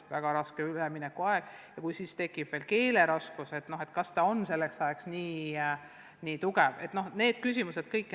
See väga keeruline üleminekuaeg ja kui siis tekib veel probleeme õppekeele pärast, kas siis laps on piisavalt tugev, et hakkama saada?